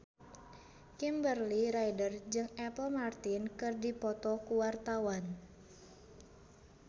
Kimberly Ryder jeung Apple Martin keur dipoto ku wartawan